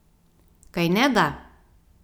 Kajneda?